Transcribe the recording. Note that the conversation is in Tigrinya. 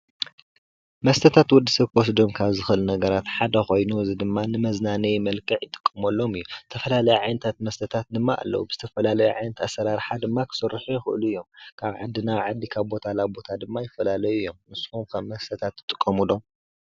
መስተታት ወዲ ሰብ ክወስዶ ካብ ዝክእል ነገራት ሓደ ኮይኑ እዚ ድማ ንመዝናነይ መልክዕ ይጥቀመሎም እዩ። ዝተፈላለየ ዓይነታት መስተታት ድማ ኣለው። ዝተፈላለዩ ኣሰራርሓ ድማ ክስርሑ ይክእሉ እዮም። ካብ ዓዲ ናብ ዓዲ ካብ ቦታ ናብ ቦታ ድማ ይፈላለዩ እዮም። ንስኩም ከ መስተታት ትጥቀሙ ዶ?